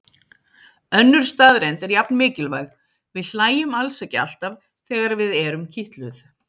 Önnur staðreynd er jafn mikilvæg: Við hlæjum alls ekki alltaf þegar við erum kitluð.